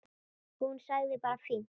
Hún sagði bara fínt.